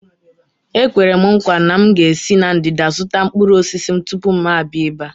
Ekwere m nkwa na m ga-esi na ndịda zụta mkpụrụ osisi m tupu m abịa ebe a.